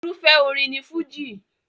Irúfẹ́ orin ni Fújì.